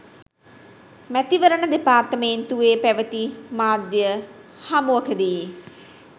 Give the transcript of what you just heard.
මැතිවරණ දෙපාර්තමේන්තුවේ පැවති මාධ්‍ය හමුවකදීයි